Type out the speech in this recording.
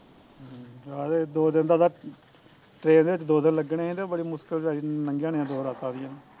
ਆਹੋ ਤੇ ਦੋ ਦਿਨ ਦਾ train ਦੇ ਵਿੱਚ ਦੋ ਦਿਨ ਲੱਗਣੇ ਸੀ ਤੇ ਬੜੀ ਮੁਸਕਿਲ ਨਾਲ਼ ਲੰਘੀਆ ਹੁਣੀਆ ਦੋ ਰਾਤਾ ਉਹਦੀਆ